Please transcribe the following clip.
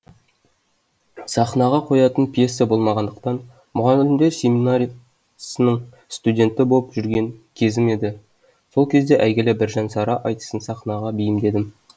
сахнаға қоятын пьеса болмағандықтан мұғалімдер семинариясының студенті боп жүрген кезім еді сол кезде әйгілі біржан сара айтысын сахнаға бейімдедім